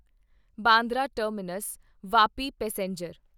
Bandra terminus Vapi passenger